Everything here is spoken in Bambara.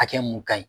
Hakɛ mun ka ɲi